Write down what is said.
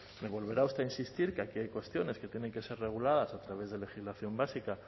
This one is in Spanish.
me volverá usted a insistir que aquí hay cuestiones que tienen que ser reguladas a través de legislación básica